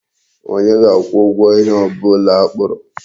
Onye ga-akwụ ụgwọ ihe ọ bụla akpụrụ?